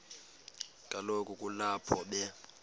kaloku kulapho be